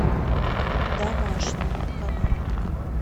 домашний канал